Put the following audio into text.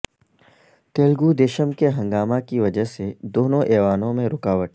تیلگو دیشم کے ہنگامہ کی وجہ سے دونوں ایوانوں میں رکاوٹ